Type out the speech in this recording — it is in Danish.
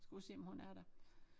Skal ud og se om hun er der